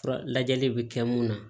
Fura lajɛli bɛ kɛ mun na